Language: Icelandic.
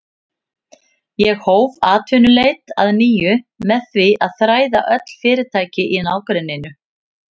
Ég hóf atvinnuleit að nýju með því að þræða öll fyrirtæki í nágrenninu.